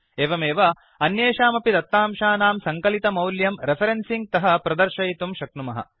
एवमेव अन्येषामपि दत्तांशानां सङ्कलितमौल्यं रेफरेन्सिंग् तः प्रदर्शयितुं शक्नुमः